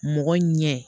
Mɔgɔ ɲɛ